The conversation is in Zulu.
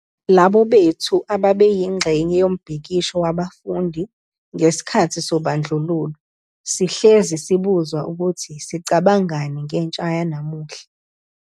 Labo bethu ababeyingxenye yombhikisho wabafundi ngesikhathi sobandlululo sihlezi sibuzwa ukuthi sicabangani ngentsha yanamuhla.